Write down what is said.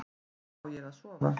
Hvar á ég að sofa?